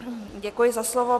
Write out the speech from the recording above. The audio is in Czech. Děkuji za slovo.